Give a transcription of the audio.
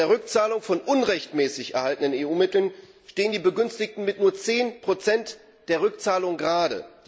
Bei der Rückzahlung von unrechtmäßig erhaltenen EU Mitteln stehen die Begünstigten mit nur 10 der Rückzahlung gerade.